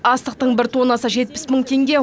астықтың бір тоннасы жетпіс мың теңге